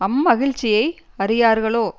அம்மகிழ்சியை அறியார்களோ